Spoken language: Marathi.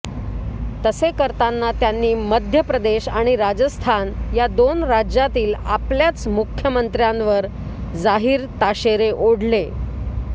तसे करताना त्यांनी मध्य प्रदेश आणि राजस्थान या दोन राज्यांतील आपल्याच मुख्यमंत्र्यांवर जाहीर ताशेरे ओढले